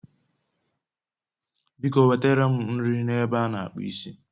biko nwetara m nri na ebe a n'akpụ isi